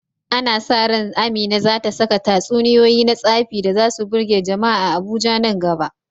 Ana sa ran Amina za ta saka tatsuniyoyi na tsafi da za su birge jama’a a Abuja nan gaba.